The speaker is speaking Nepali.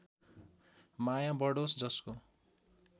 माया बढोस् जसको